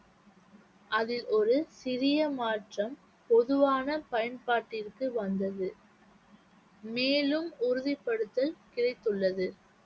அதில் ஒரு சிறிய மாற்றம் பொதுவான பயன்பாட்டிற்கு வந்தது மேலும் உறுதிப்படுத்தல் கிடைத்துள்ளது